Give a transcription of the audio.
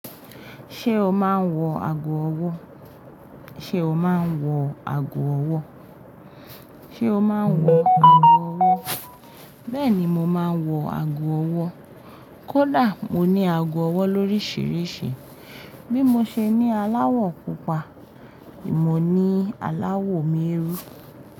Ṣé o máa ń wọ ago ọwọ́? Ṣé o máa ń wọ ago ọwọ́? Ṣé o máa ń wọ ago ọwọ́? Bẹ́ẹ̀ ni, mo máa ń wọ ago ọwọ́. Kódà mo ní ago ọwọ́ lórísìírísìí. Bí mo ṣe ní aláwọ̀ pupa, ni mo ní aláwọ̀ m'eérú.